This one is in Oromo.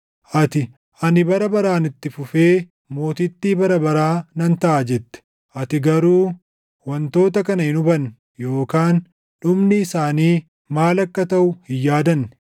Ati, ‘Ani bara baraan itti fufee mootittii bara baraa nan taʼa!’ jette. Ati garuu wantoota kana hin hubanne yookaan dhumni isaanii maal akka taʼu hin yaadanne.